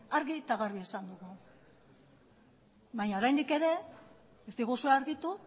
daude argi eta garbi esan dugu baina oraindik ere ez diguzue argitu